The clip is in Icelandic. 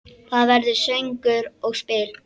Það verður söngur og spil.